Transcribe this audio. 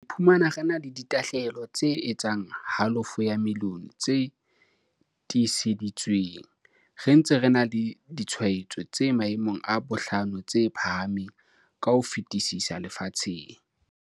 Re iphumana re na le di tlaleho tse etsang halofo ya milione tse tiiseditsweng, re ntse re na le ditshwaetso tse maemong a bohlano tse phahameng ka ho fetisisa lefatsheng.